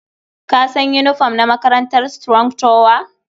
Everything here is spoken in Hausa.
Ka san yinifom na makarantar Strong tower?